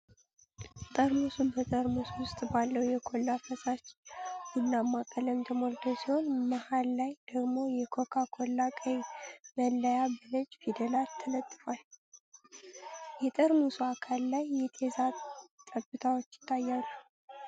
ጠርሙሱ በጠርሙስ ውስጥ ባለው የኮላ ፈሳሽ ቡናማ ቀለም ተሞልቶ ሲሆን፣ መሃል ላይ ደግሞ የኮካ ኮላ ቀይ መለያ በነጭ ፊደላት ተለጥፏል። የጠርሙሱ አካል ላይ የጤዛ ጠብታዎች ይታያሉ።